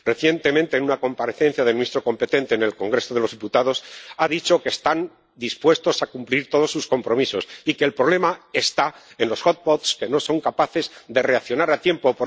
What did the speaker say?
Recientemente, en una comparecencia del ministro competente en el Congreso de los Diputados, este dijo que están dispuestos a cumplir todos sus compromisos y que el problema está en los hotspots que no son capaces de reaccionar a tiempo.